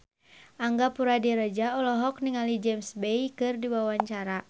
Angga Puradiredja olohok ningali James Bay keur diwawancara